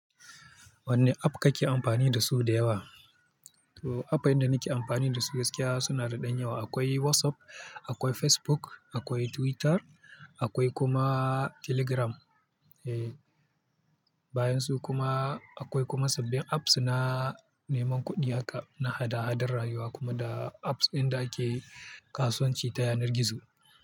Wanne app kake amfani da su da yawa? To app din da nake amfani da su gaskiya suna da ɗan yawa. Akwai WhatsApp, akwai Facebook, akwai Twitter akwai kuma Telegram. Eh, bayan su kuma akwai kuma sabbin apps na neman kuɗi haka, na hada-hadar rayuwa kuma da apps ɗin da ake kasuwanci ta yanar gizo.